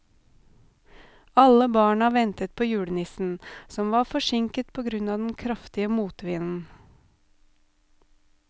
Alle barna ventet på julenissen, som var forsinket på grunn av den kraftige motvinden.